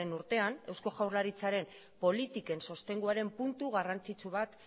urtean eusko jaurlaritzaren politiken sostenguaren puntu garrantzitsu bat